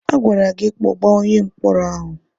A gwara gị kpọbaa onye mkpọrọ ahụ!